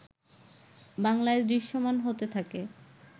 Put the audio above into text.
বাংলায় দৃশ্যমান হতে থাকে